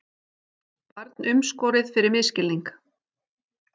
Barn umskorið fyrir misskilning